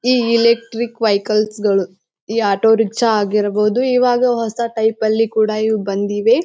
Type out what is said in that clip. ಈ electric vehicles ಗಳು ಈ ಆಟೋರಿಕ್ಕ್ಷ ಆಗಿರಬಹುದು ಇವಾಗ ಹೊಸ ಟೈಪ್ ಲಿ ಕೂಡ ಇವು ಬಂದಿವೆ.